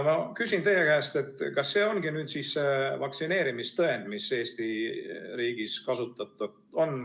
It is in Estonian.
Ma küsin teie käest, kas see ongi vaktsineerimistõend, mida Eesti riigis kasutatakse?